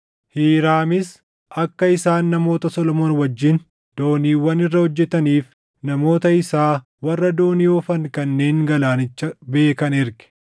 Hiiraamis akka isaan namoota Solomoon wajjin dooniiwwan irra hojjetaniif namoota isaa warra doonii oofan kanneen galaanicha beekan erge.